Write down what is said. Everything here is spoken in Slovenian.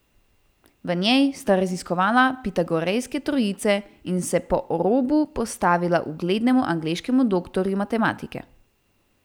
V njej sta raziskovala pitagorejske trojice in se po robu postavila uglednemu angleškemu doktorju matematike.